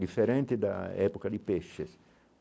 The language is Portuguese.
Diferente da época de peixes.